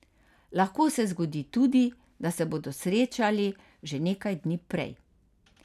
Lahko se zgodi tudi, da se bodo srečali že nekaj dni prej.